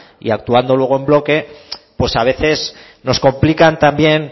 y actuando luego en bloque pues a veces nos complican también